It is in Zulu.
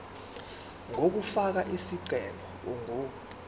yokufaka isicelo ingu